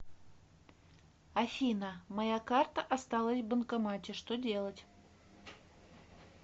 афина моя карта осталась в банкомате что делать